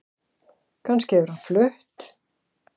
Kannski hefur hann flutt